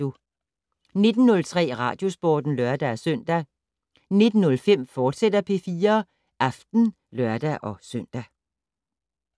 19:03: Radiosporten (lør-søn) 19:05: P4 Aften, fortsat (lør-søn)